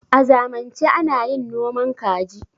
a zanmance ana yin noman kaji